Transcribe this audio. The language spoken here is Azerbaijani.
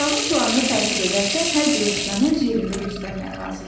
Otağın planını tərtib edərkən hər bir əşyanı öz yerində göstərmək lazımdır.